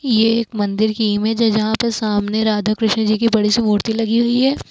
ये एक मंदिर की इमेज है जहां पे सामने राधा कृष्ण जी की बड़ी से मूर्ति लगी हुई है।